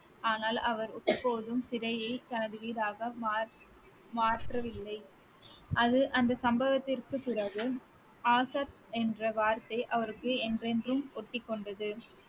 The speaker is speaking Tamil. ஆனால் அவர் இப்போதும் சிறையை தனது வீடாக மாற்~ மாற்றவில்லை அது அந்த சம்பவத்திற்கு பிறகு ஆசாத் என்ற வார்த்தை அவருக்கு என்றென்றும் ஒட்டிக்கொண்டது